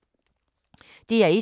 DR1